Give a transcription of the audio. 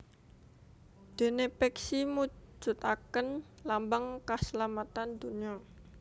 Déné peksi mujudaken lambang kaslametan dunya